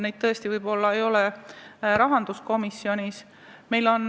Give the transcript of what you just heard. Neid võib-olla tõesti ei ole rahanduskomisjonis.